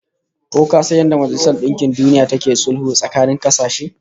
Ko ka san yadda da Majalisar Dinkin Duniya take sulhu tsakanin kasashe?